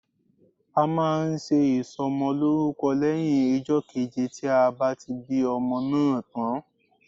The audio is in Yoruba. A máa nse ìsò mo lórúko éyìn ijó keje tí a bá ti bí ọmọ náà tán